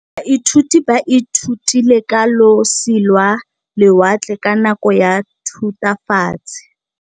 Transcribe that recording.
Baithuti ba ithutile ka losi lwa lewatle ka nako ya Thutafatshe.